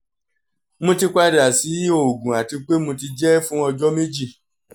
mo ti pada si oògùn ati pe mo ti jẹ fun ọjọ meji